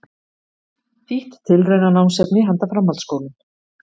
Þýtt tilraunanámsefni handa framhaldsskólum.